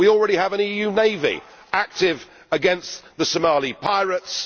we already have an EU navy active against the Somali pirates